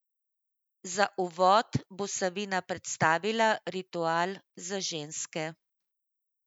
Za uvod bo Savina predstavila ritual za ženske.